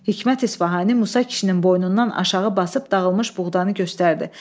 Hikmət İsfahani Musa kişinin boynundan aşağı basıb dağılmış buğdanı göstərdi.